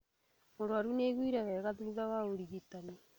Mũrwaru nĩiguire wega thutha wa ũrigitani